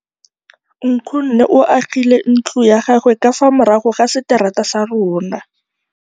Nkgonne o agile ntlo ya gagwe ka fa morago ga seterata sa rona.